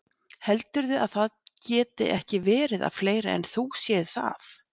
Heldurðu að það geti ekki verið að fleiri en þú séu það?